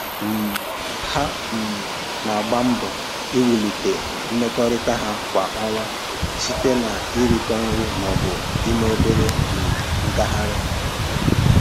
um Ha um na-agba mbọ iwulite mmekọrịta ha kwa ọnwa site na-irikọ nri maọbụ ime obere um ngagharị